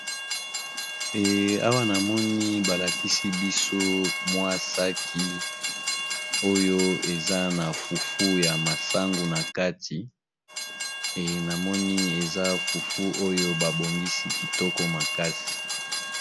Eee awa namoni balakisibiso mwa sac oyo eza nafufu yamasangu nakati ee namoni eza fufu babongisi kitoko makasi